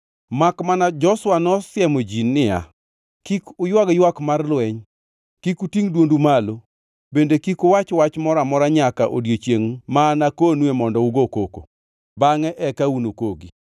Makmana Joshua nosiemo ji niya, “Kik uywag ywak mar lweny, kik utingʼ dwondu malo, bende kik uwach wach moro amora nyaka odiechiengʼ ma anakonue mondo ugo koko. Bangʼe eka unukogi!”